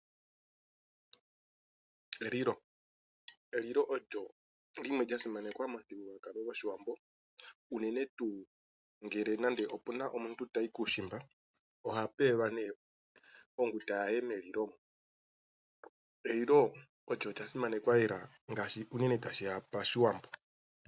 Elilo, elilo olyo limwe lyasimanakwa momuthigululwakalo gwoshiwambo unene tuu ngele nande omuntu tayi kuushimba ohape yelwa nee onguta yaye melilo. Elilo olyo lya simanakwa lela ngaashi unene tashiya pashiwambo.